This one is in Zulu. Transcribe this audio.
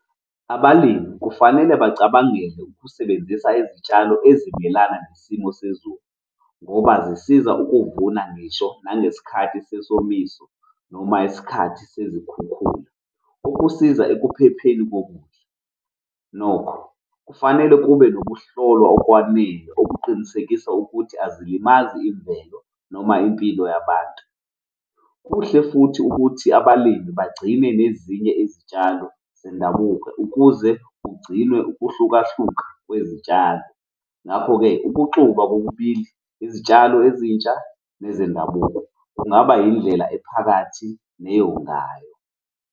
Abalimi kufanele bacabangele ukusebenzisa izitshalo ezimelana nesimo sezulu ngoba zisiza ukuvuna ngisho nangesikhathi sesomiso noma isikhathi sezikhukhula ukusiza ekuphepheni kokudla. Nokho kufanele kube nokuhlolwa okwanele okuqinisekisa ukuthi azilimazi imvelo noma impilo yabantu. Kuhle futhi ukuthi abalimi bagcine nezinye izitshalo zendabuko ukuze kugcinwe ukuhlukahluka kwezitshalo, ngakho-ke ukuxuba kokubili izitshalo ezintsha nezendabuko kungaba indlela ephakathi neyongayo.